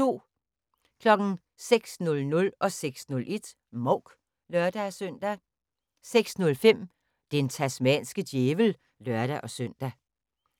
06:00: Mouk (lør-søn) 06:01: Mouk (lør-søn) 06:05: Den tasmanske djævel (lør-søn)